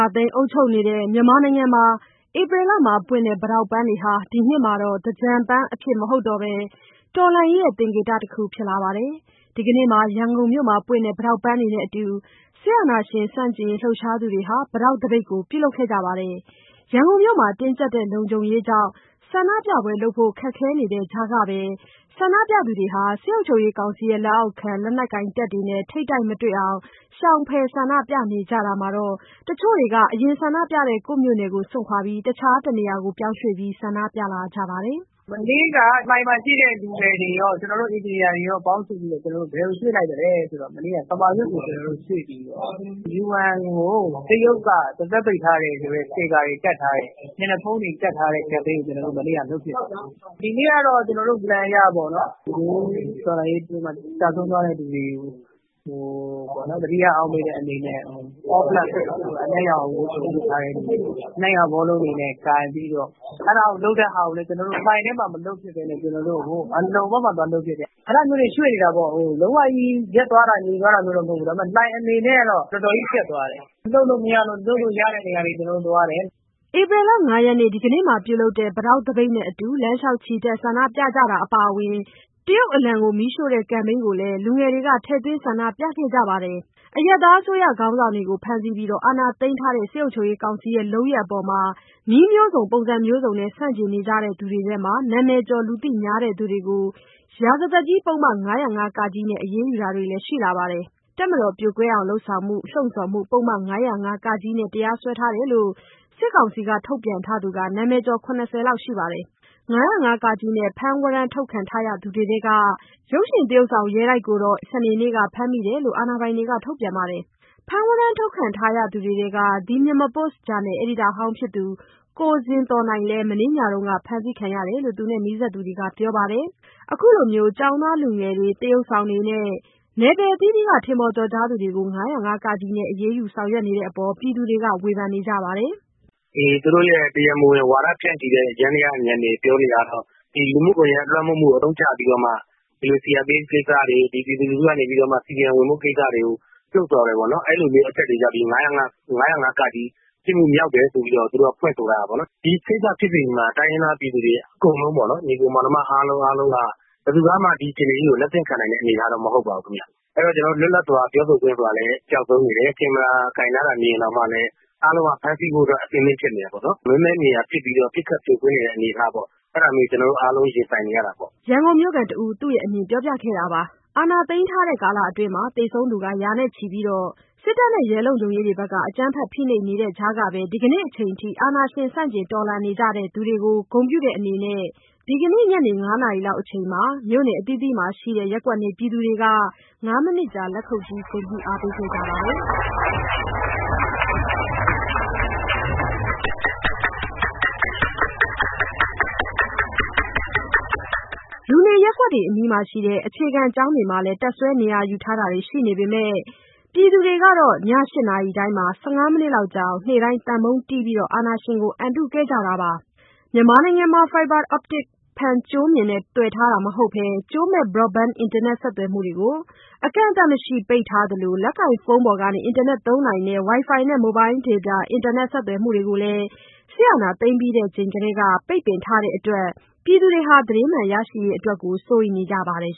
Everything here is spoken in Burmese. ာသိမ်း အုပ်ချုပ်နေတဲ့ မြန်မာနိုင်ငံမှာ ဧပြီလပွင့်တဲ့ ပိတောက်ပန်းတွေဟာ ဒီနှစ်မှာတော့ သင်္ကြန်ပန်းအဖြစ် မဟုတ်တော့ဘဲ တော်လှန်ရေးရဲ့ သင်္ကေတတခု ဖြစ်လာပါတယ်။ ဒီကနေ့မှာ ရန်ကုန်မြို့မှာပွင့်တဲ့ ပိတောက်ပန်းတွေနဲ့အတူ အာဏာရှင်ဆန့်ကျင်ရေး လှုပ်ရှားသူတွေဟာ ပိတောက်သပိတ်ကိုလည်း ပြုလုပ်ခဲ့ကြပါတယ်။ ရန်ကုန်မြို့မှာ တင်းကြပ်တဲ့လုံခြုံရေးကြောင့် ဆန္ဒပြပွဲ လုပ်ဖို့ ခက်ခဲတဲ့ကြားကပဲ ဆန္ဒပြသူတွေကတော့ စစ်ကောင်စီလက်အောက်ခံ လက်နက်ကိုင်တပ်တွေနဲ့ ထိပ်တိုက်မတွေ့အောင် ရှောင်ဖယ်ဆန္ဒပြနေကြတာမှာ တချို့တွေက အရင်ဆန္ဒပြတဲ့ ကိုယ့်မြို့နယ်ကို စွန့်ခွာပြီး တခြားတနေရာ ပြောင်းရွှေ့ပြီး ဆန္ဒပြလာကြပါတယ်။ "မနေ့က လှိုင်မှာ ရှိတဲ့ လူငယ်တွေရော၊ ကျနော်တို့ အင်ဂျင်နီယာတွေရော ပေါင်းစုပြီးတော့ ကမာရွတ်ကို ရွှေ့ပြီးတော့ UN ကို တရုတ်က ပါးစပ်ပိတ်ထားတယ်ဆိုတဲ့ စတစ်ကာတွေ ကပ်ထားတဲ့၊ မျက်နှာဖုံးတွေ တပ်ထားတဲ့ ကမ်ပိန်းကို မနေ့က လုပ်ဖြစ်တယ်။ ဒီနေ့ကတော့ ကျနော်တို့ Plan အရပေါ့နော်... နွေဦးတော်လှန်ရေးအတွင်းမှာ ကျဆုံးသွားကြတဲ့သူတွေကို သတိရအောက်မေ့တဲ့အနေနဲ့ အနက်ရောင်ဝတ်စုံ ဝတ်ထားတဲ့သူတွေ၊ အနက်ရောင် ဘောလုံးတွေ ကိုင်ပြီးတော့ လုပ်ဖြစ်တယ်။ အဲဒါလုပ်တဲ့ဟာကိုလည်း ကျနော်တို့ လှိုင်ထဲမှာ မလုပ်ဖြစ်ဘဲနဲ့ အလုံဘက်မှာ သွားလုပ်ဖြစ်တယ်။ အဲဒါမျိုးတွေ ရွှေ့နေတာပေါ့။ လုံးဝကြီး ရပ်သွားတာ၊ ငြိမ်သွားတာမျိုးတော့ မဟုတ်ဘူး။ ဒါပေမဲ့ လှိုင်အနေနဲ့ကတော့ တော်တော်ကြီး ကြပ်သွားတယ်။ လှုပ်လို့မရလို့ လှုပ်လို့ရတဲ့နေရာတွေ ကျနော်တို့သွားတယ်။" ဧပြီလ ၅ ရက်နေ့ ဒီကနေ့မှာ ပြုလုပ်တဲ့ ပိတောက်သပိတ်နဲ့အတူ၊ လမ်းလျှောက်ချီတက် ဆန္ဒပြကြတာအပါအဝင် တရုတ်အလံကို မီးရှို့တဲ့ကမ်ပိန်းကိုလည်း လူငယ်တွေက ထည့်သွင်းဆန္ဒပြခဲ့ကြပါတယ်။ အရပ်သားအစိုးရ ခေါင်းဆောင်တွေကို ဖမ်းဆီးပြီး အာဏာသိမ်းထားတဲ့ စစ်ကောင်စီရဲ့ လုပ်ရပ်တွေအပေါ်နည်းအမျိုးမျိုးနဲ့ ဆန့်ကျင်နေသူတွေထဲက နာမည်ကျော် လူသိများသူတွေကို ရာဇသတ်ကြီးဥပဒေ ပုဒ်မ ၅၀၅-က နဲ့ အရေးယူတာတွေလည်း ရှိလာပါတယ်။ တပ်မတော်ပြိုကွဲအောင် လုပ်ဆောင်မှု၊ လှုံ့ဆော်မှု ပုဒ်မ ၅၀၅-က နဲ့ တရားစွဲထားတယ်လို့ စစ်ကောင်စီက ထုတ်ပြန်ထားသူ နာမည်ကျော် ၇၀ လောက်ရှိပါတယ်။ ၅၀၅-က နဲ့ ဖမ်းဝရမ်းထုတ်ခံထားရသူတွေထဲက ရုပ်ရှင်သရုပ်ဆောင် ရဲတိုက်ကိုတော့ ဧပြီလ ၃ ရက် စနေနေ့က ဖမ်းမိတယ်လို့ အာဏာပိုင်တွေက ထုတ်ပြန်ပါတယ်။ ဖမ်းဝရမ်း ထုတ်ခံထားရသူတွေထဲက The Myanmar Post ဂျာနယ် အယ်ဒီတာဟောင်းဖြစ်သူ ကိုဇင်သော်နိုင်လည်း မနေ့ညတုန်းက ဖမ်းဆီးခံရတယ်လို့ နီးစပ်သူတွေက ပြောပါတယ်။ အခုလို ကျောင်းသားလူငယ်တွေ၊ သရုပ်ဆောင်တွေနဲ့ နယ်ပယ်အသီးသီးက ထင်ပေါ်သူတွေကို ၅၀၅-က နဲ့ အရေးယူထားတဲ့အပေါ်ပြည်သူတွေက ဝေဖန်နေကြပါတယ်။ "သူတို့ (စစ်ကောင်စီ) ရဲ့ တရားမဝင် ဝါဒဖြန့်ချီတဲ့ ယန္တယားတွေကနေ ပြောနေတာကတော့ ဒီလူမှုကွန်ယက် လွှမ်းမိုးမှုကို အသုံးချပြီးတော့မှ CRPH ကိစ္စတွေ၊ ပြည်သူလူထုကနေပြီးတော့ CDM ဝင်ဖို့ ကိစ္စတွေကို လှုံ့ဆော်တယ်ပေါ့နော်။ အဲဒီလိုမျိုး အချက်တွေကြောင့် ဒီ ၅၀၅ (က) ပြစ်မှုမြောက်တယ်ဆိုပြီးတော့ သူတို့ကဖွင့်ဆိုထားတာပေါ့နော်။ ဒီကိစ္စဖြစ်စဉ်ကြီး (စစ်ကောင်စီက အာဏာသိမ်းတဲ့လုပ်ရပ်) မှာ တိုင်းရင်းသား ပြည်သူတွေအကုန်လုံးပေါ့နော်၊ ဘယ်သူကမှ ဒီအခြေအနေကြီးကို လက်သင့်ခံနိုင်တဲ့ အနေအထားတော့ မဟုတ်ပါဘူးခင်ဗျ။ အဲဒီတော့ ကျနော်တို့ လွတ်လပ်စွာပြောဆိုခွင့် ဆိုတာလည်း ပျောက်ဆုံးနေတယ်။ ကင်မရာကိုင်ထားတာ မြင်ရင်တောင်မှလည်း အားလုံးက ဖမ်းဆီးဖို့အတွက် အဆင်သင့်ဖြစ်နေတယ်ပေါ့နော်။ မဲမဲမြင်ရာ ပစ်ခတ်ဖြိုခွင်းနေတဲ့ အနေအထားပေါ့။ အဲဒါမျိုးတွေ ကျနော်တို့အားလုံး ရင်ဆိုင်နေရတာပေါ့။" ရန်ကုန်မြို့ခံတယောက်က သူ့ရဲ့ အမြင်ကို ပြောပြတာပါ။ အာဏာသိမ်းထားတဲ့ ကာလအတွင်းမှာ သေဆုံးသူ ရာနဲ့ချီပြီး အကြမ်းဖက်ဖိနှိပ်ခံနေရတဲ့ကြားက ဒီကနေ့အချိန်အထိ အာဏာရှင်ဆန့်ကျင်တော်လှန်နေကြသူတွေကို ဂုဏ်ပြုတဲ့အနေနဲ့ ညနေ ၅ နာရီအချိန်မှာ မြို့နယ်အသီးသီးမှာ ရှိတဲ့ ရပ်ကွက်နေပြည်သူတွေဟာ ၅မိနစ်ကြာ လက်ခုတ်တီး ဂုဏ်ပြုအားပေးခဲ့ကြပါတယ်။ လူနေရပ်ကွက်တွေအနီးက အခြေခံပညာကျောင်းတွေမှာလည်း တပ်စွဲနေရာယူထားတာတွေရှိနေပေမဲ့ ပြည်သူတွေကတော့ ည ၈ နာရီတိုင်းမှာ ၁၅ မိနစ်လောက်ကြာအောင် နေ့တိုင်း သံပုံးတီးပြီး အာဏာရှင်ကို အံတုနေကြပါတယ်။ မြန်မာနိုင်ငံမှာ Fiber optic ဖန်ကြိုးမျှင်နဲ့ သွယ်ထားတာ မဟုတ်တဲ့ ကြိုးမဲ့ Broadband အင်တာနက်ဆက်သွယ်မှုတွေကို အကန့်အသတ်မရှိ ပိတ်ထားသလို၊ လက်ကိုင်ဖုန်းပေါ်ကနေ အင်တာနက်သုံးနိုင်တဲ့ Wifi နဲ့ Mobile data အင်တာနက် ဆက်သွယ်မှုတွေကိုလည်း စစ်အာဏာသိမ်းပြီးထဲက ပိတ်ပင်ထားတဲ့အတွက် ပြည်သူတွေဟာ သတင်းမှန်ရရှိရေးအတွက်ကိုလည်း စိုးရိမ်နေကြပါတယ်